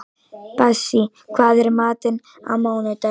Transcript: Bassí, hvað er í matinn á mánudaginn?